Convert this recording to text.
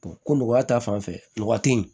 ko mɔgɔya ta fanfɛ mɔgɔ te yen